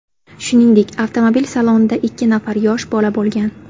Shuningdek, avtomobil salonida ikki nafar yosh bola bo‘lgan.